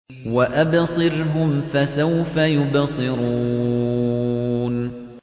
وَأَبْصِرْهُمْ فَسَوْفَ يُبْصِرُونَ